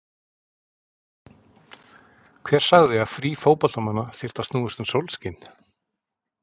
Hver sagði að frí fótboltamanna þyrftu að snúast um sólskin?